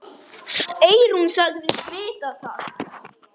Eyrún sagðist vita það.